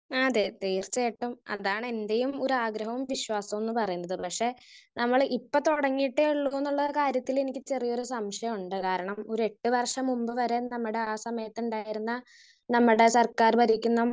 Speaker 1 അതെ തീർച്ചയായിട്ടും അതാണ് എന്റെയും ഒരാഗ്രഹവും വിശ്വാസവുംന്ന് പറയുന്നത്. പക്ഷെ നമ്മള് ഇപ്പൊ തുടങ്ങിയിട്ടേയൊള്ളൂന്നുള്ള കാര്യത്തില് എനിക്ക് ചെറിയൊരു സംശയുണ്ട്. കാരണം ഒരു എട്ട് വർഷം മുമ്പ് വരെ നമ്മടെ ആ സമയത്തുണ്ടായിരുന്ന നമ്മടെ സർക്കാർ ഭരിക്കുന്ന